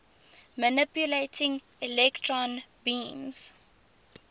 manipulating electron beams